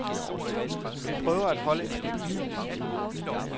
Vi prøver at holde en stabil udvikling.